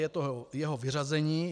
Je to jeho vyřazení.